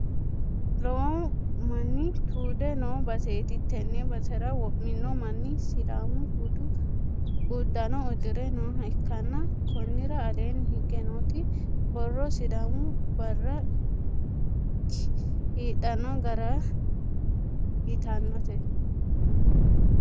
Lowo manni tuude noo baseeti. Tenne basera wo'mino manni sidaamu budu uddanno uddire nooha ikkanna konnira aleenni higge nooti borro sidaamu barra kiidhanno gara yitannote.